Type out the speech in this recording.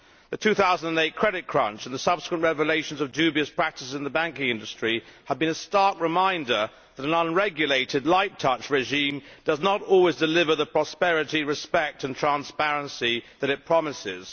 The 2008 credit crunch and the subsequent revelations of dubious practices in the banking industry have been a stark reminder that an unregulated light touch regime does not always deliver the prosperity, respect and transparency that it promises.